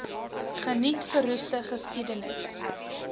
geniet verroeste geskiedenis